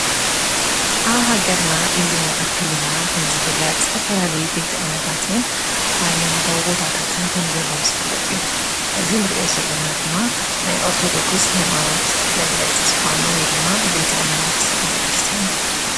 ኣብሃገርና ኢሉውን ኣብ ክልልና ኸም ዝፍለጥ ዝተፈላልዩ ቤቲ እምነታትን ኃይማኖቶው ቦታታትን ከም ዘለዉ ዝፍለጥ እዩ እዚ ንርእዮ ዘለና ድማ ናይ ኦርቶዶክስ ኃይማኖት መግለፂ ዝኾነ ወይ ድማ ቤተ እምነት ቤተ ክርስቲያን ይበሃል።